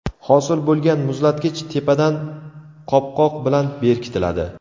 Hosil bo‘lgan muzlatkich tepadan qopqoq bilan berkitiladi.